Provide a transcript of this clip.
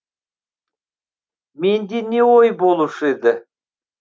менде не ой болушы еді